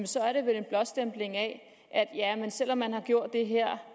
så er det vel en blåstempling af at selv om man har gjort det her